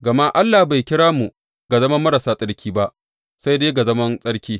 Gama Allah bai kira mu ga zaman marasa tsarki ba, sai dai ga zaman tsarki.